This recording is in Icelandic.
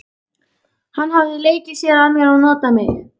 Hann hafði leikið sér að mér og notað mig.